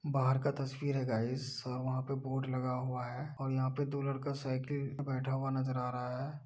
बाहर का तस्वीर है गाईज और वहाँ पे (पर) बोर्ड लगा हुआ है और यहाँ पे (पर) दो लड़का साईकल पे (पर) बैठा हुआ नजर आ रहा है।